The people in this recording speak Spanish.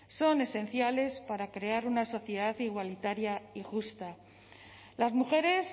son esenciales para crear una sociedad igualitaria y justa las mujeres